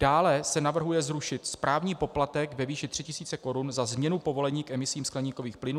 Dále se navrhuje zrušit správní poplatek ve výši 3 000 Kč za změnu povolení k emisím skleníkových plynů.